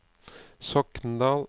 Sokndal